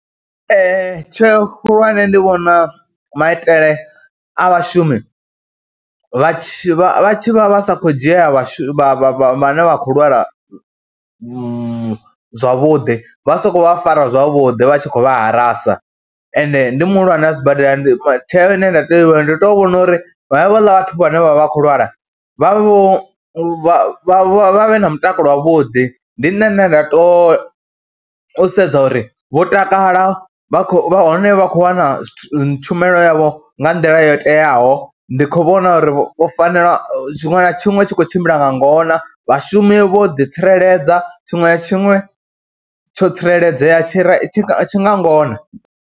TsheO khulwane ndi vhona maitele a vhashumi vha tshi vha tshi vha vha sa khou dzhia vhashu vha vha vha vhane vha khou lwala zwavhuḓi, vha sa khou vha fara zwavhuḓi, vha tshi khou vha harasa ende ndi muhulwane wa sibadela, ndi, tsheo ine nda tea u i ita ndi tea u vhona uri havhala vhathu vhane vha vha vha khou lwala vha vhe vho vha vhe na mutakalo wavhuḓi. Ndi nṋe ane nda tou sedza uri vho takala, vha khou, vha hone vha khou wana tshumelo yavho nga nḓila yo teaho. Ndi khou vhona uri vho fanela, tshiṅwe na tshiṅwe tshi khou tshimbila nga ngona, vhashumi vho ḓitsireledza, tshiṅwe na tshiṅwe tsho tsireledzea, tshi re tshi tshi nga ngona.